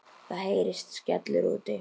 Það heyrist skellur úti.